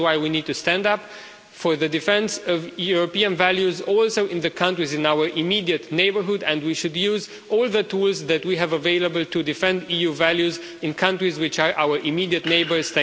This is why we need to stand up for the defence of European values also in the countries in our immediate neighbourhood and we should use all the tools that we have available to defend EU values in countries which are our immediate neighbours.